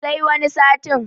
sai wani satin